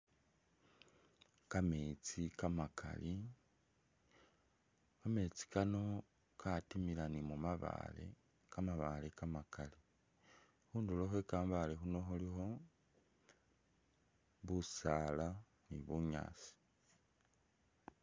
Kameetsi kamakaali, kameetsi kano katimila ni khubabaale, kamabaale kamakaali khundulo khwe kamabaale Kano khulikho busaala ni bunyaasi